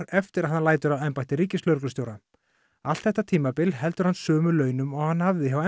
eftir að hann lætur af embætti ríkislögreglustjóra allt þetta tímabil heldur hann sömu launum og hann hafði hjá